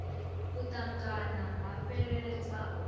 u ṱangana ha fheleledza ho